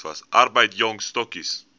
arbeid jong stokkies